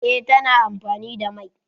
Eh, ta na amfani da mai